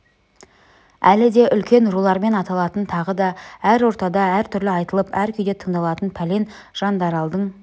әлі де үлкен рулармен аталатын тағы да әр ортада әртүрлі айтылып әр күйде тыңдалатын пәлен жандаралдың